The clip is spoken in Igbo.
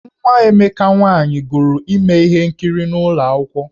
Nwa Emeka nwaanyị gụrụ ime ihe nkiri n’ụlọ akwụkwọ.